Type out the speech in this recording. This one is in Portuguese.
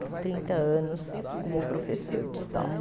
Com trinta anos como professora de história.